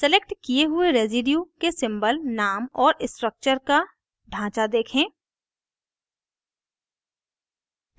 selected किये हुए residue के symbol name और structure का ढांचा देखें